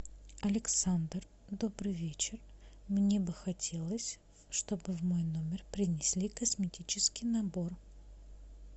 александр добрый вечер мне бы хотелось чтобы в мой номер принесли косметический набор